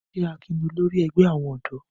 Ṣé Akin ni olórí ẹgbẹ́ àwọn ọ̀dọ́?